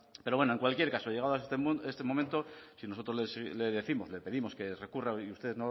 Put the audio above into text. pero bueno en cualquier caso llegado a este momento si nosotros le décimos o le pedimos que recurra y usted